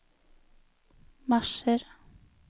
marsjer